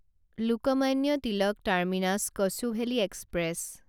Lokmanya Tilak terminus Kochuveli express